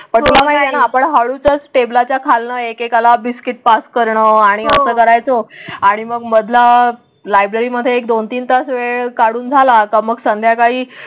आपण हळूच टेबलाच्या खालना एकेकाला बिस्किट पास करणं आणि कसं करायचं आणि मग मधला लायब्ररीमध्ये एक दोन तीन तास वेळ काढून झाला का? मग संध्याकाळी.